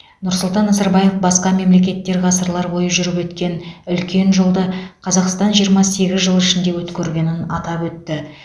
нұрсұлтан назарбаев басқа мемлекеттер ғасырлар бойы жүріп өткен үлкен жолды қазақстан жиырма сегіз жыл ішінде өткергенін атап өтті